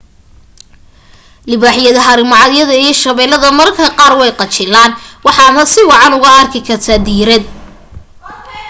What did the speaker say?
libaaxyada haramacadyada iyo shabeeladda mararka qaar way qajilaan waxaadna si wacan oogu arki kartaa diirad